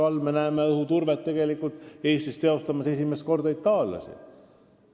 Kuulume ju ka teise koostööorganisatsiooni ja saame elada NATO vihmavarju all.